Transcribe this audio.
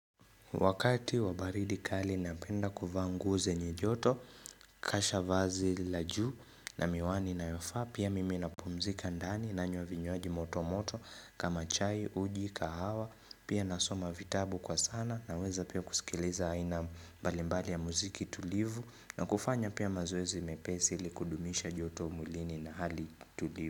Wakati wabaridi kali napenda kuvaa nguo ze nye joto, kasha vazi lajuu na miwani inayofaa, pia mimi napumzika ndani nanywa vinywaji moto moto kama chai, uji, kahawa, pia nasoma vitabu kwa sana na weza pia kusikiliza haina mbalimbali ya muziki tulivu na kufanya pia mazoezi mepesi ilikudumisha joto mwilini na hali tulivu.